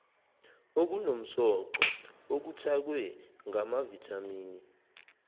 okunomsoco okuthakwe ngamavithamini